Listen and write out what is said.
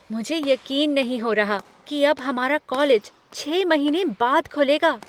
मुझे यकीन नहीं हो रहा कि अब हमारा कॉलेज छः महीने बाद खुलेगा।